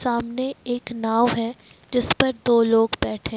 सामने एक नाव है जिस पर दो लोग बैठे--